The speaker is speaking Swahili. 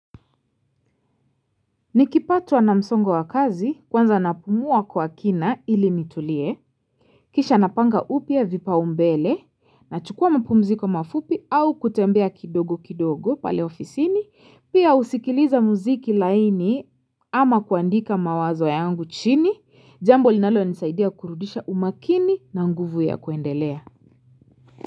Nikipatwa na msongo wa kazi kwanza napumua kwa kina ili nitulie Kisha napanga upya vipaumbele na chukua mapumziko mafupi au kutembea kidogo kidogo pale ofisini pia husikiliza muziki laini ama kuandika mawazo yangu chini jambo linalo nisaidia kurudisha umakini na nguvu ya kuendelea.